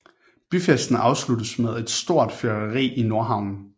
Byfesten afsluttes med et stort fyrværkeri i Nordhavnen